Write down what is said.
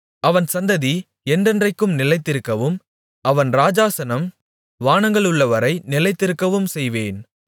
அவன் சந்ததி என்றென்றைக்கும் நிலைத்திருக்கவும் அவன் ராஜாசனம் வானங்களுள்ளவரை நிலைநிற்கவும் செய்வேன்